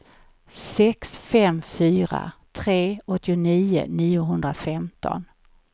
sex fem fyra tre åttionio niohundrafemton